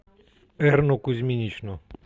эрну кузьминичну